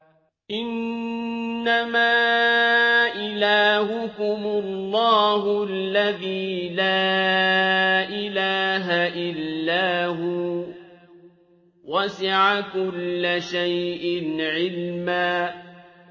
إِنَّمَا إِلَٰهُكُمُ اللَّهُ الَّذِي لَا إِلَٰهَ إِلَّا هُوَ ۚ وَسِعَ كُلَّ شَيْءٍ عِلْمًا